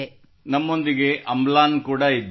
ನಮ್ಮೊಂದಿಗೆ ಅಮ್ಲಾನ್ ಕೂಡ ಇದ್ದಾರೆ